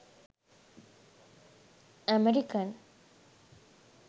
american